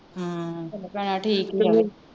ਭੈਣਾਂ ਠੀਕ ਤੇ